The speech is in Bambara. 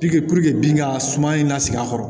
Puruke puruke bin ka suma in lasigi a kɔrɔ